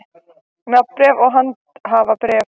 Nafnbréf og handhafabréf.